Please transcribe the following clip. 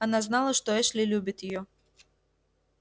она знала что эшли любит её